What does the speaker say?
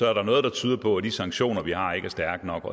er der noget der tyder på at de sanktioner vi har ikke er stærke nok